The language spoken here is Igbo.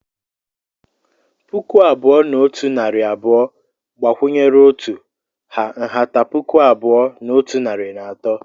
Puku abụọ na otu narị abụọ gbakwunyere otu ha nhata puku abụọ na otu narị na atọ.